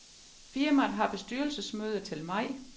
Firmaet har bestyrelsesmøde til maj.